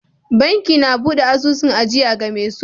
Banki na buɗe asusun ajiya game so